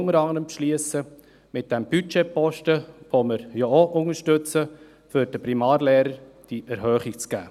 Wir beschliessen sie unter anderem mit dem Budgetposten, den wir auch unterstützen, um den Primarlehrern die Lohnerhöhung zu geben.